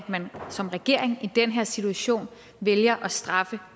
man som regering i den her situation vælger at straffe